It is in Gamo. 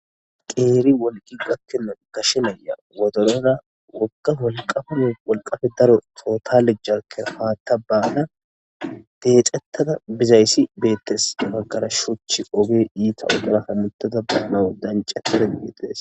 Qeeri wolqi gakkina gashenaya wodolora woka wolqafame wolqafe daro tootalejjake haatta baana deecettada bizayssi beettes maggara shuuchi oge iita udaraka muttada baanawo dancetide ggiites.